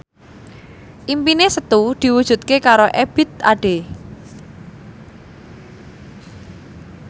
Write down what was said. impine Setu diwujudke karo Ebith Ade